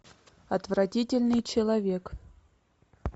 отвратительный человек